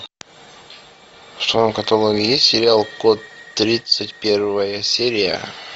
в твоем каталоге есть сериал код тридцать первая серия